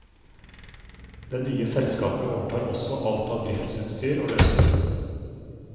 Det nye selskapet overtar også alt av driftsutstyr og løsøre.